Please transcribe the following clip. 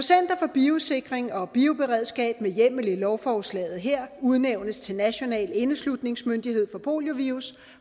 biosikring og bioberedskab med hjemmel i lovforslaget her udnævnes til national indeslutningsmyndighed for poliovirus